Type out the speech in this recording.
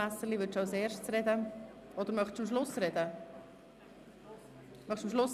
– Nein, er möchte lieber am Schluss sprechen.